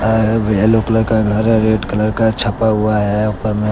Yellow colour का घर है रेड कलर का छपा हुआ हैं ऊपर में।